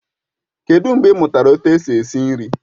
Kedụ mgbe ị mụtara etu esi esi nri?